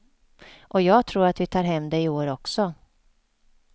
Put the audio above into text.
Och jag tror att vi tar hem det i år också.